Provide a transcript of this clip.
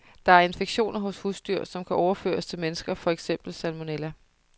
Der er infektioner hos husdyr, som kan overføres til mennesker, for eksempel salmonella.